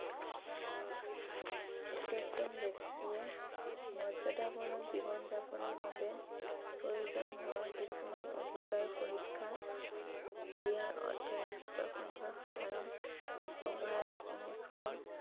প্ৰত্য়েকজন ব্যক্তিয়ে মৰ্যাদাপূৰ্ণ জীৱন যাপনৰ বাবে প্ৰয়োজন হোৱা কিছুমান অধিকাৰ সুৰক্ষা